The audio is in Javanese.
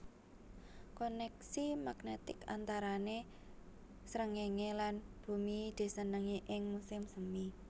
Koneksi magnetik antarané sréngéngé lan bumi disenengi ing musim semi